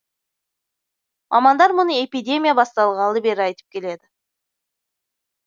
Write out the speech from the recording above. мамандар мұны эпидемия басталғалы бері айтып келеді